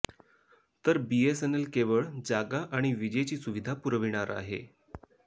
तर बीएसएनएल केवळ जागा आणि विजेची सुविधा पुरविणार आहे